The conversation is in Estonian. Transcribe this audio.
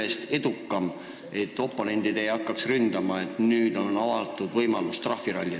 Küsin sellepärast, et oponendid ei hakkaks teid ründama süüdistusega, et nüüd on trahviralli võimalus avatud?